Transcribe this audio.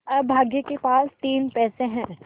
अभागे के पास तीन पैसे है